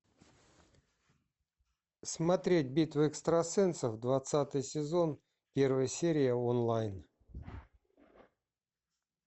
смотреть битву экстрасенсов двадцатый сезон первая серия онлайн